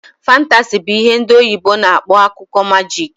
Fantasi bụ ihe ndị oyibo na akpọ akụkọ majik